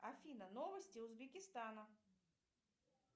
афина новости узбекистана